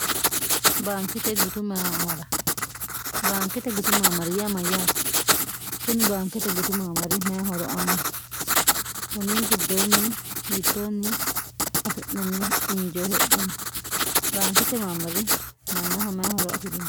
baankete gutummra baankete gutu maamariyaa mayyaate kuni baankete gutu maamari mayhoro aanno kunni giddoonni yittoonni afi'nanni injeo hedhamo baankete maammari mannaho mayhoro afi'rino